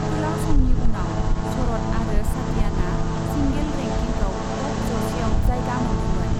गोलाव समनि उनाव शरत आरो सातियानआ सिंगेल रेंकिंआव टप जौसेआव जायगा मोन्दोंमोन।